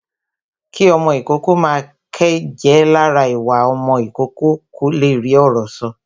Kí ọmọ ìkókó máa ké jẹ́ lára ìwà ọmọ ìkókó kó le rí ọ̀rọ̀ sọ